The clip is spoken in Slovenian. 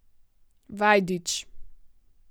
Vajdič.